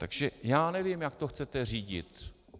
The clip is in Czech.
Takže já nevím, jak to chcete řídit.